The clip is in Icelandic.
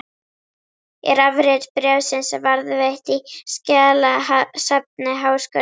Er afrit bréfsins varðveitt í skjalasafni Háskólans.